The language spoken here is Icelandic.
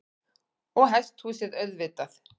Og hesthús auðvitað.